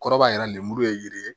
Kɔrɔbaya yɛrɛ lemuru ye yiri ye